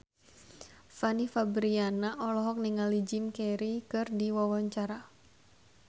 Fanny Fabriana olohok ningali Jim Carey keur diwawancara